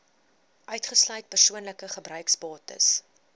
uitgesluit persoonlike gebruiksbates